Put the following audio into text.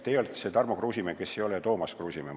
Teie olete siis see Tarmo Kruusimäe, kes ei ole Toomas Kruusimägi.